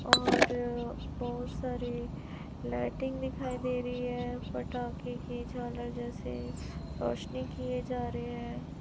और बहोत सारी लाइटिंग दिखाई दे रही है पटाखे की झालर जैसे रोशनी किए जा रहे है।